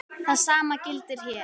Það sama gildir hér.